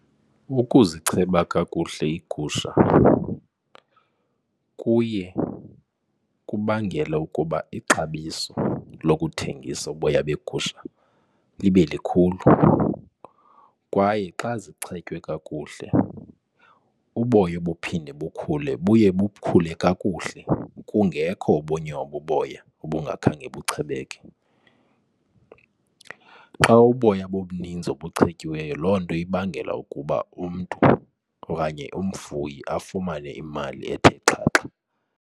Ukuzicheba kakuhle iigusha kuye kubangele ukuba ixabiso lokuthengisa uboya begusha libe likhulu kwaye xa zichetywe kakuhle uboya obuphinde bukhule buye bukhule kakuhle kungekho obunye ububoya ubungakhange buchebeke. Xa uboya bubuninzi obuchetyiweyo, loo nto ibangela ukuba umntu okanye umfuyi afumane imali ethe xhaxha.